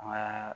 An bɛ